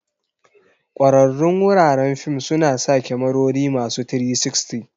Kwararrun wuraren fim suna sa kyamarori masu 360.